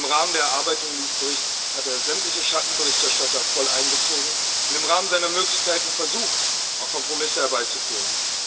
Im Rahmen der Erarbeitung dieses Berichts hat er sämtliche Schattenberichterstatter voll einbezogen und im Rahmen seiner Möglichkeiten versucht, Kompromisse herbeizuführen.